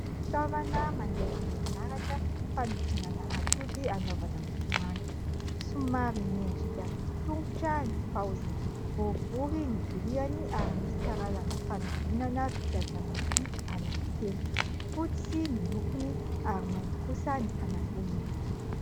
Fitaovana mandeha amin'ny herinaratra fanodinana atody anaovana mofomamy. Somary miendrika tongotra ny paoziny. Boribory ny viliany ary misy karazana fanodinana vita avy amin'ny vy anankitelo. Fotsy ny lokony ary mainty kosa ny fanamboniny.